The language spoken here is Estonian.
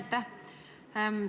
Aitäh!